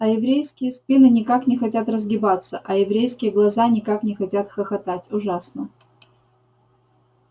а еврейские спины никак не хотят разгибаться а еврейские глаза никак не хотят хохотать ужасно